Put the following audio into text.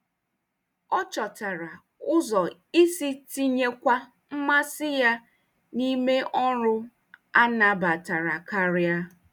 Ọ chọtara ụzọ isi tinyekwa mmasị ya n'ime ọrụ a nabatara karị.